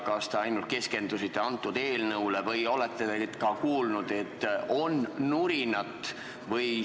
Kas te ainult keskendusite antud eelnõule või olete nüüd ka kuulnud, et on nurinat?